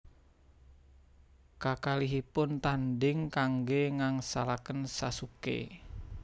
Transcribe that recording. Kakalihipun tanding kangge ngangsalaken Sasuke